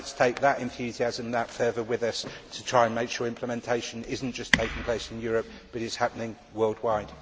Let us take that enthusiasm and that fervour with us to try to make sure implementation is not just taking place in Europe but is happening worldwide.